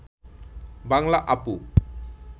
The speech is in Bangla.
বাংলা আপু